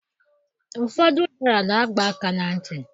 Ụfọdụ ụdara na-agba aka na ntị.